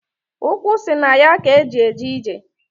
Ukwu si na ya k'e ji eje ije.